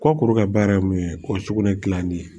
Kɔkuru ka baara ye mun ye ko sugunɛ gilanni ye